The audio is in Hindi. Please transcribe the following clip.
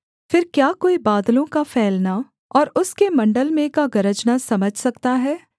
फिर क्या कोई बादलों का फैलना और उसके मण्डल में का गरजना समझ सकता है